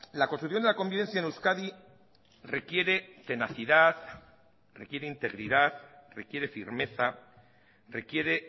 la construcción de la convivencia en euskadi requiere tenacidad requiere integridad requiere firmeza requiere